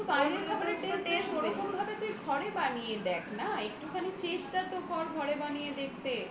বাইরের খাবারের taste ওরকম ভাবে তুই ঘরে বানিয়ে দেখ না একটুখানি চেষ্টা তো কর ঘরে বানিয়ে দেখতে